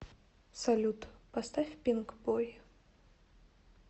салют поставь пинкбой